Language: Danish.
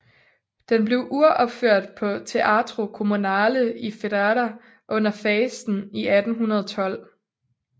Den blev uropført på Teatro Comunale i Ferrara under fasten i 1812